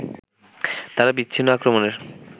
তারা বিচ্ছিন্ন আক্রমণের